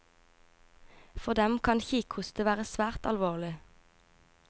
For dem kan kikhoste være svært alvorlig.